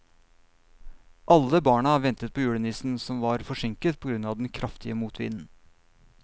Alle barna ventet på julenissen, som var forsinket på grunn av den kraftige motvinden.